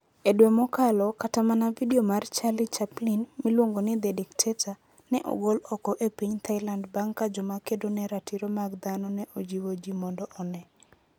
E dwe mokalo, kata mana vidio mar Charlie Chaplin, miluongo ni The Dictator, ne ogol oko e piny Thailand bang ' ka joma kedo ne ratiro mag dhano ne ojiwo ji mondo one.